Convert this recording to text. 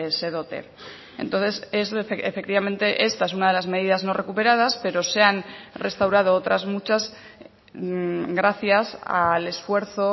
se dote entonces efectivamente esta es una de las medidas no recuperadas pero se han restaurado otras muchas gracias al esfuerzo